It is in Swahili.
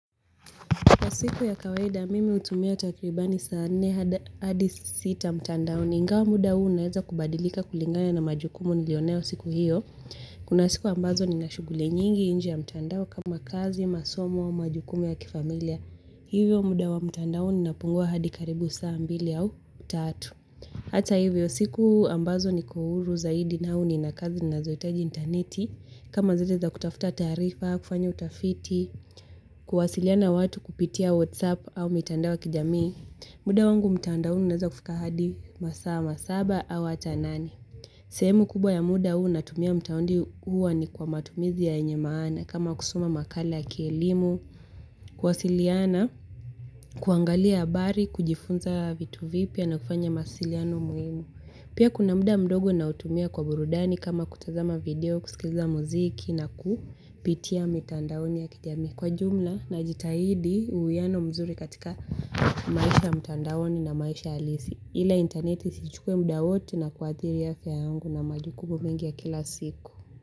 Kwa siku ya kawaida mimi utumia takribani saa nne hadi sita mtandaoni ingawa muda huu unaeza kubadilika kulingana na majukumu nilionayo siku hiyo. Kuna siku ambazo ni na shughuli nyingi inje ya mtandao kama kazi, masomo, majukumu ya kifamilia. Hivyo muda wa mtandao ni napungua hadi karibu saa mbili au tatu. Hata hivyo siku ambazo nikohuru zaidi na huu ni na kazi nazoitaji interneti. Kama zile za kutafuta taarifa, kufanya utafiti, kuwasiliana na watu kupitia whatsapp au mitandao ya kijamii. Muda wangu mtandaoni unaza kufika hadi masaa masaba au ata nane. Sehemu kubwa ya muda huu natumia mtaundi huwa ni kwa matumizi ya yenye maana. Kama kusoma makala ya kielimu, kuwasiliana, kuangalia abari, kujifunza vitu vipya na kufanya masiliano muhimu. Pia kuna muda mdogo nautumia kwa burudani kama kutazama video, kusikiza muziki na ku pitia mitandaoni ya kijamii kwa jumla najitahidi uwiano mzuri katika maisha mtandaoni na maisha alisi ile interneti isichukue muda wote na kuadhiria afya yangu na majukumu mengi ya kila siku.